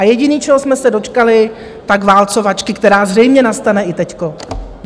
A jediné, čeho jsme se dočkali, tak válcovačky, která zřejmě nastane i teď.